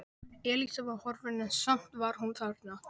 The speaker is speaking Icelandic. Elísa var horfin en samt var hún þarna.